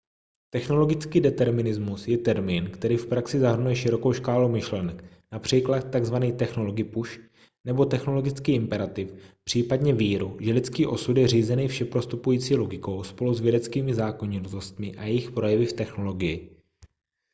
technologický determinismus je termín který v praxi zahrnuje širokou škálu myšlenek například tzv technology pusch nebo technologický imperativ případně víru že lidský osud je řízený všeprostupující logikou spolu s vědeckými zákonitostmi a jejich projevy v technologii